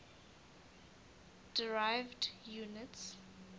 derived units